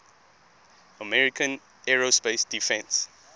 american aerospace defense